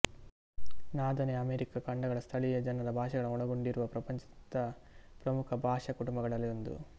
ನಾದೆನೆ America ಖಂಡಗಳ ಸ್ಥಳೀಯ ಜನರ ಭಾಷೆಗಳನ್ನು ಒಳಗೊಂಡಿರುವ ಪ್ರಪಂಚದ ಪ್ರಮುಖ ಭಾಷಾ ಕುಟುಂಬಗಳಲ್ಲಿ ಒಂದು